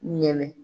Ɲinɛ